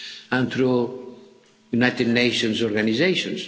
NGOs and through United Nations organisations.